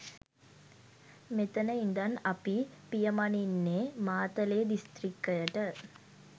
මෙතන ඉඳන් අපි පියමනින්නේ මාතලේ දිස්ත්‍රික්කයට.